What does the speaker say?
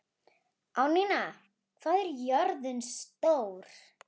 Árnína, hvað er jörðin stór?